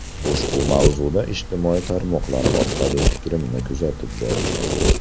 Ushbu mavzuda ijtimoiy tarmoqlar orqali fikrimni kuzatib boring.